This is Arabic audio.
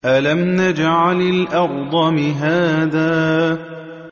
أَلَمْ نَجْعَلِ الْأَرْضَ مِهَادًا